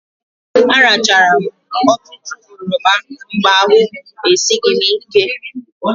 Arachara m ọtụtụ oroma mgbe ahụ esighị m ike.